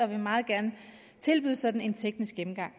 vil meget gerne tilbyde sådan en teknisk gennemgang